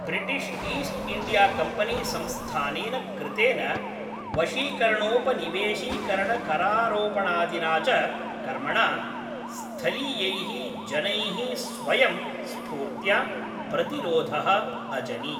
British East India Company संस्थानेन कृतेन वशीकरणोपनिवेशीकरणकरारोपणादिना च कर्मणा स्थलीयैः जनैः स्वयं स्फूर्त्या प्रतिरोधः अजनि।